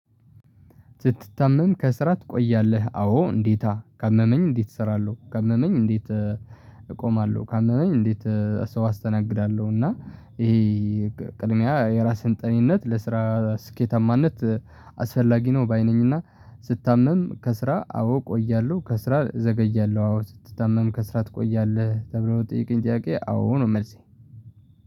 ስትታመም ከስራ ትቆያለህ? አዎ እንዴታ ካመመኝ እንዴት እሰራለሁ ካመመኝ እንዴት እቆማለሁ። ካመመኝ እንዴት ሰው አስተናግዳለሁ። እና ይሄ ቅድሚያ የራስህን ጤናነት ለስራ ስኬታማነት አስፈላጊ ነው። ባይ ነኝና ስታምም ከስራ አዎ እቆያለሁ ከስራ እዘገያለሁ። አዎ ስትታመም ከስራ ትቆያለህ? ተብሎ ለጠየቀኝ ጥያቄ አዎ ነው መልሴ